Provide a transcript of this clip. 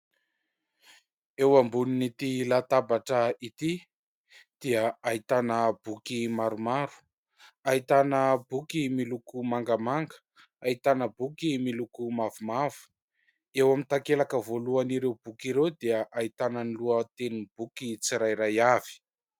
Eo ambonin'ity latabatra ity dia ahitana boky maromaro, ahitana boky miloko mangamanga, ahitana boky miloko mavomavo, eo amin'ny takelaka voalohan'ireo boky ireo dia ahitana ny lohatenin'ny boky tsirairay avy.